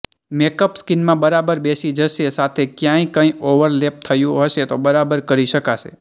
makeup સ્કિનમાં બરાબર બેસી જશે સાથે ક્યાંય કંઈ ઓવરલેપ થયું હશે તો બરાબર કરી શકાશે